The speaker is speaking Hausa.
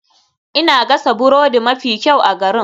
Ina gasa burodi mafi kyau a garin.